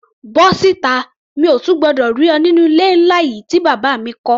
Bọ́ síta! Mi ò tún gbọdọ̀ rí ọ nínú ilé ńlá yìí tí bàbá mi kọ́.